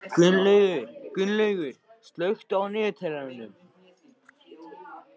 Gunnlaugur, slökktu á niðurteljaranum.